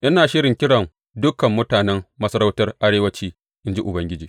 Ina shirin kiran dukan mutanen masarautar arewanci, in ji Ubangiji.